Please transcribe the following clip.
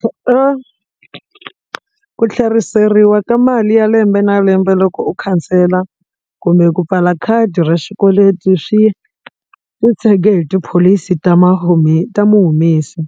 ku ku tlheriseriwa ka mali ya lembe na lembe loko u khansela kumbe ku pfala khadi ra xikweleti swi ku tshege hi tipholisi ta ta muhumesi